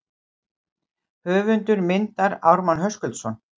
Höfundur myndar Ármann Höskuldsson.